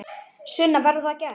Sunna: Verður það gert?